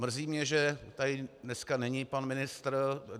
Mrzí mě, že tady dneska není pan ministr.